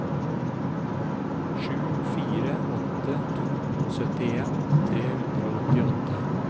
sju fire åtte to syttien tre hundre og åttiåtte